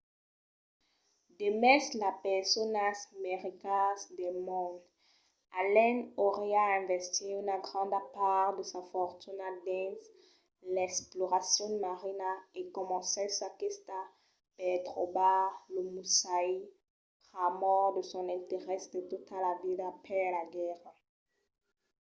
demest las personas mai ricas del mond allen auriá investit una granda part de sa fortuna dins l'exploracion marina e comencèt sa quista per trobar lo musashi pr'amor de son interès de tota la vida per la guèrra